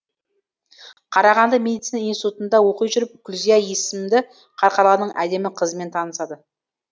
қарағанды медицина институтында оқи жүріп күлзия есімді қарқаралының әдемі қызымен танысады